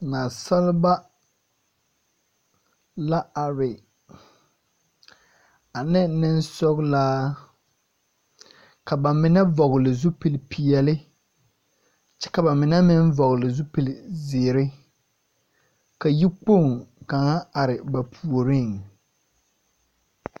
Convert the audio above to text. Naasalba, la are, ane nensɔglaa, ka ba mine vɔgele zupil-peɛle, kyɛ ka ba mine meŋ zupil-zeere. Ka yikpoŋ kaŋa are ba puoriŋ.